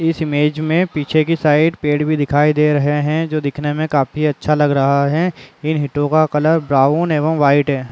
इस इमेज मे पीछे के साइड पेड़ भी दिखाई दे रहे है जो दिखने में काफी अच्छा लग रहा है इन हिटो का कलर ब्राउन एंड वाइट है।